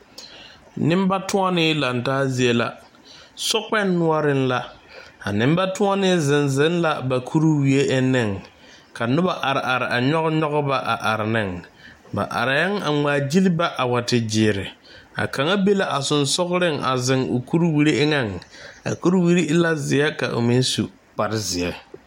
Nenbatɔnne laŋe taa zie la, sokpoŋi noɔreŋ la a nenbatɔnne zeŋ zeŋ la a ba kuriwie enne ka noba are are a nyɔge ba a are ne, ba areŋ a ŋmaa gyili ba a wa te gyɛre a kaŋa be la sensɔgleŋ a zeŋ o kuriwiri eŋ a kuriwiri e la zeɛ ka o meŋ su kpare zeɛ.